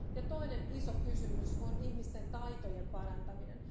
Toinen iso kysymys on ihmisten taitojen parantaminen.